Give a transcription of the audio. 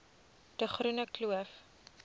de groene kloof